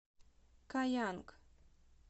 каянг